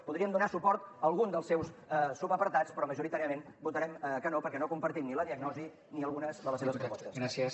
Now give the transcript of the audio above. podríem donar suport a algun dels seus subapartats però majoritàriament votarem que no perquè no compartim ni la diagnosi ni algunes de les seves propostes